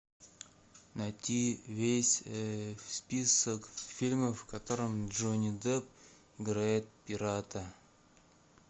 найти весь список фильмов в котором джонни депп играет пирата